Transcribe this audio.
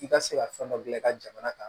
I ka se ka fɛn dɔ gilan i ka jamana kan